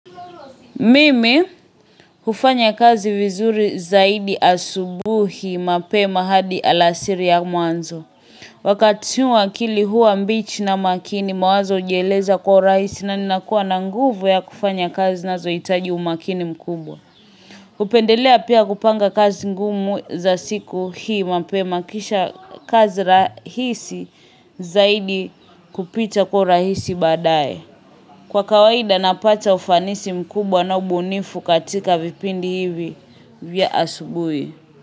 Mimi hufanya kazi vizuri zaidi asubuhi mapema hadi alasiri ya mwanzo. Wakati huo akili huwa mbichi na makini, mawazo hujieleza kwa rahisi na ninakuwa na nguvu ya kufanya kazi zinazohitaji umakini mkubwa. Napendelea pia kupanga kazi ngumu za siku hii mapema, kisha kazi rahisi zaidi kupita kwa urahisi baadaye. Kwa kawaida napata ufanisi mkubwa na ubunifu katika vipindi hivi vya asubuhi.